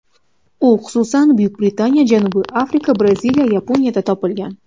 U, xususan, Buyuk Britaniya, Janubiy Afrika, Braziliya, Yaponiyada topilgan.